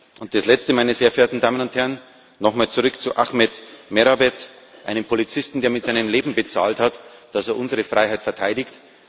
Und als Letztes, meine sehr verehrten Damen und Herren, nochmal zurück zu Ahmed Merabet, einem Polizisten, der mit seinem Leben dafür bezahlt hat, dass er unsere Freiheit verteidigt.